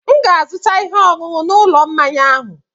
M ga-azụta ihe ọṅụṅụ n'ụlọ mmanya ahụ.